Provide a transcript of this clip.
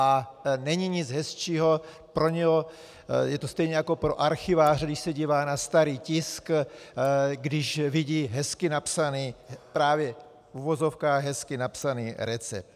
A není nic hezčího pro něj - je to stejné jako pro archiváře, když se dívá na starý tisk -, když vidí hezky napsaný, právě v uvozovkách hezky napsaný, recept.